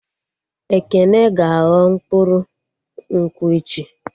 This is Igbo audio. Ekene ga-aghọ mkpụrụ nkwụ echi